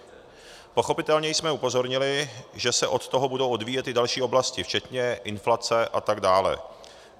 Pochopitelně jsme upozornili, že se od toho budou odvíjet i další oblasti, včetně inflace atd.